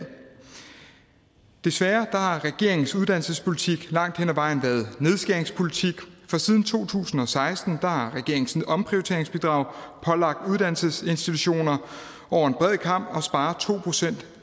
desværre har regeringens uddannelsespolitik langt hen ad vejen været nedskæringspolitik for siden to tusind og seksten har regeringens omprioriteringsbidrag pålagt uddannelsesinstitutioner over en bred kam at spare to procent